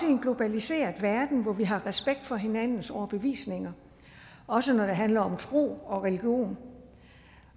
en globaliseret verden hvor vi har respekt for hinandens overbevisninger også når det handler om tro og religion